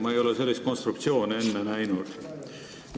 Ma ei ole sellist konstruktsiooni enne näinud.